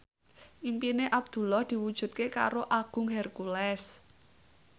impine Abdullah diwujudke karo Agung Hercules